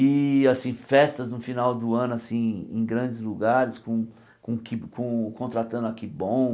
E assim festas no final do ano assim em grandes lugares, com com ki con contratando a kibom.